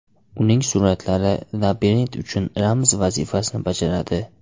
Uning suratlari labirint uchun ramz vazifasini bajaradi.